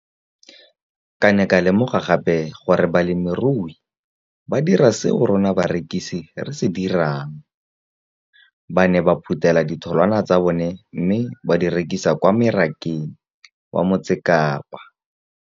Ke ne ka lemoga gape gore balemirui ba dira seo rona barekisi re se dirang - ba ne ba phuthela ditholwana tsa bona mme ba di rekisa kwa marakeng wa Motsekapa.